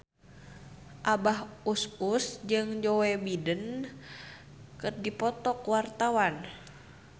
Abah Us Us jeung Joe Biden keur dipoto ku wartawan